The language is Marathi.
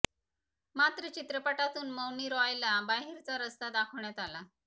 मात्र चित्रपटातून मौनी रॉयला बाहेरचा रस्ता दाखवण्यात आला